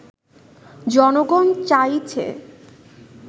জনগণ চাইছে